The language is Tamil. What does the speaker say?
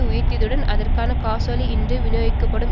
உயர்த்தியதுடன் அதற்கான காசோலை இன்று விநியோகிக்கப்படும்